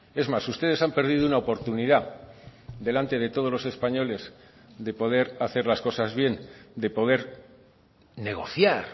es más ustedes han perdido una oportunidad delante de todos los españoles de poder hacer las cosas bien de poder negociar